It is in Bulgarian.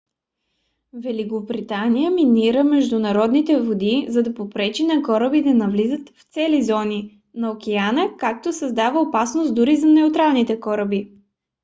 великобритания минира международните води за да попречи на кораби да навлизат в цели зони на океана като създава опасност дори за неутралните кораби